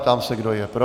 Ptám se, kdo je pro.